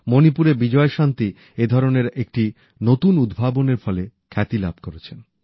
মণিপুরের বিজয়শান্তি এ ধরনের একটি নতুন উদ্ভাবনের ফলে খ্যাতি লাভ করেছেন